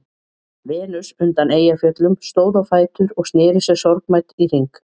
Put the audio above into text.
Venus undan Eyjafjöllum stóð á fætur og sneri sér sorgmædd í hring.